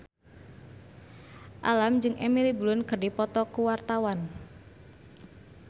Alam jeung Emily Blunt keur dipoto ku wartawan